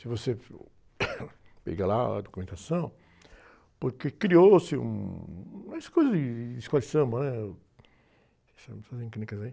Se você, pegar lá a documentação, porque criou-se um, umas coisas de, de escola de samba, né? técnicas, aí...